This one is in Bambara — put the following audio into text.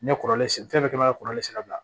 N ye kɔrɔlen sen fɛn bɛɛ kɛ maninka kɔrɔlen sira la